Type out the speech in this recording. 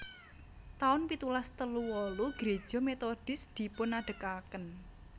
taun pitulas telu wolu Greja Methodis dipunadegaken